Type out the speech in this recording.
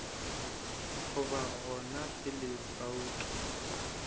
go ba gona pele bouto